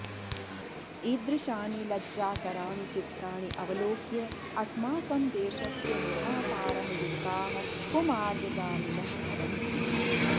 ईदृशानि लज्जाकराणि चित्राणि अवलोक्य अस्माकं देशस्य निर्मातारः युवकाः कुमार्गगामिनः भवन्ति